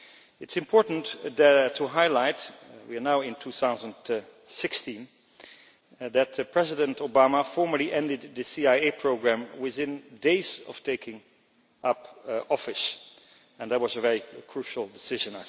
It is important to highlight we are now in 2016 that President Obama formally ended the CIA programme within days of taking up office, and that was a very crucial decision.